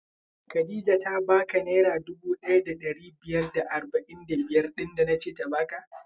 Khadijah ta ba ka naira dubu ɗaya da ɗari biyar da arba'in da biyar ɗin da nace ta baka?